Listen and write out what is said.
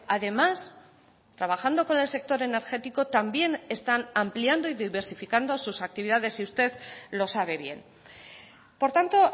además trabajando con el sector energético también están ampliando y diversificando sus actividades y usted lo sabe bien por tanto